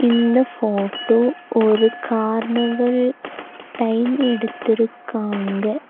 இந்த ஃபோட்டோ ஒரு carnival time எடுத்துருக்காங்க.